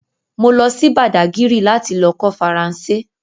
Mo lọ sí bàdágírì láti lọ kọ́ Faransé